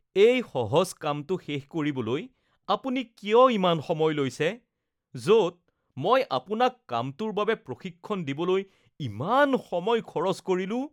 এই সহজ কামটো শেষ কৰিবলৈ আপুনি কিয় ইমান সময় লৈছে য'ত মই আপোনাক কামটোৰ বাবে প্ৰশিক্ষণ দিবলৈ ইমান সময় খৰচ কৰিলোঁ।